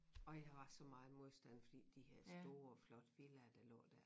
Og jeg var så meget modstand fordi de her store flotte villaer der lå dér